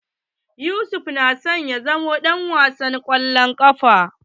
Yusufa na son ya zama ɗan wasan kwallon ƙafa.